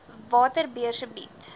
watter beurse bied